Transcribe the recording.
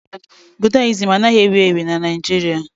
Budayịzim anaghị ewu ewu na Naịjirịa